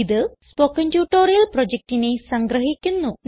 ഇത് spoken tutorial പ്രൊജക്റ്റിനെ സംഗ്രഹിക്കുന്നു